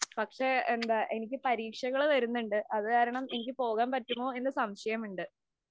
പക്ഷേ, എനിക്ക് പരീക്ഷകള്‍ വരുന്നുണ്ട്. അതുകാരണം എനിക്ക് പോകാന്‍ പറ്റുമോ എന്ന് സംശയം ഉണ്ട്.